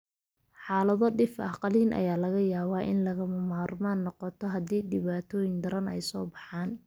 Xaalado dhif ah, qalliin ayaa laga yaabaa inay lagama maarmaan noqoto haddii dhibaatooyin daran ay soo baxaan.